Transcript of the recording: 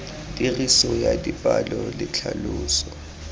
tiriso ya dipalo le tlhaloso